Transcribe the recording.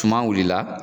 Suma wulila